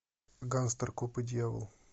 гангстер коп и дьявол